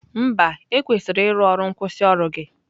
Mba, ekwesịrị ịrụ ọrụ nkwusioru gị.